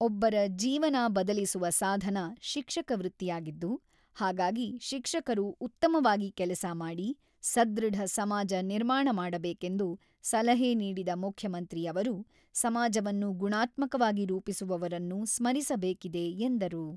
ಒಬ್ಬರ ಜೀವನ ಬದಲಿಸುವ ಸಾಧನ ಶಿಕ್ಷಕ ವೃತ್ತಿಯಾಗಿದ್ದು, ಹಾಗಾಗಿ ಶಿಕ್ಷಕರು ಉತ್ತಮವಾಗಿ ಕೆಲಸ ಮಾಡಿ, ಸದೃಢ ಸಮಾಜ ನಿರ್ಮಾಣ ಮಾಡಬೇಕೆಂದು ಸಲಹೆ ನೀಡಿದ ಮುಖ್ಯಮಂತ್ರಿ ಅವರು, ಸಮಾಜವನ್ನು ಗುಣಾತ್ಮಕವಾಗಿ ರೂಪಿಸುವವರನ್ನು ಸ್ಮರಿಸಬೇಕಿದೆ ಎಂದರು.